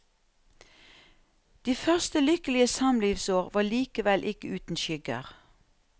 De første lykkelige samlivsår var likevel ikke uten skygger.